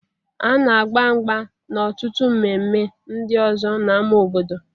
A na agba mgba na ọtụtụ mme mme ndị ọzọ n'ámá obodo